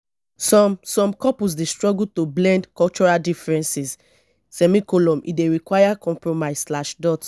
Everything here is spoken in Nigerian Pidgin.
some some couples dey struggle to blend cultural differences; e dey require compromise.